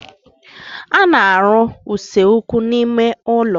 A na-arụ usekwu n'ime ụlọ.